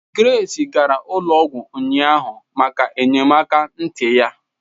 Grace gara ụlọ ọgwụ ụnyaahụ maka enyemaka ntị ya